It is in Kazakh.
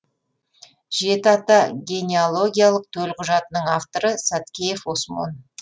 жеті ата генеалогиялық төлқұжатының авторы саткеев осмон